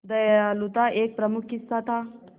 दयालुता एक प्रमुख हिस्सा था